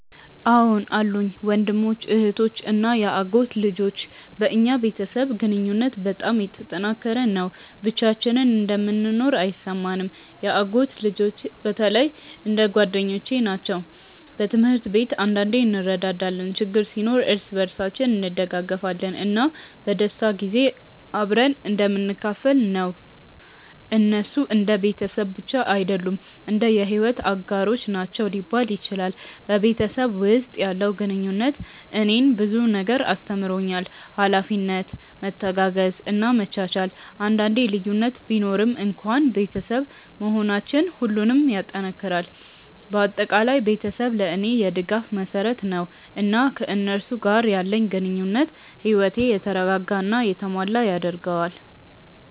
አዎን አሉኝ፤ ወንድሞች፣ እህቶች እና የአጎት ልጆች። በእኛ ቤተሰብ ግንኙነት በጣም የተጠናከረ ነው፣ ብቻችንን እንደምንኖር አይሰማንም። የአጎት ልጆቼ በተለይ እንደ ጓደኞቼ ናቸው። በትምህርት ላይ አንዳንዴ እንረዳዳለን፣ ችግር ሲኖር እርስ በርሳችን እንደግፋለን፣ እና በደስታ ጊዜ አብረን እንደምንካፈል ነው። እነሱ እንደ ቤተሰብ ብቻ አይደሉም፣ እንደ የሕይወት አጋሮች ናቸው ሊባል ይችላል። በቤተሰብ ውስጥ ያለው ግንኙነት እኔን ብዙ ነገር አስተምሮኛል፤ ኃላፊነት፣ መተጋገዝ እና መቻቻል። አንዳንዴ ልዩነት ቢኖርም እንኳን ቤተሰብ መሆናችን ሁሉንም ይጠናክራል። በአጠቃላይ ቤተሰቤ ለእኔ የድጋፍ መሰረት ነው፣ እና ከእነሱ ጋር ያለኝ ግንኙነት ሕይወቴን የተረጋጋ እና የተሞላ ያደርገዋል።